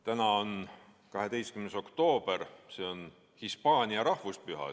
Täna on 12. oktoober, see on Hispaania rahvuspüha.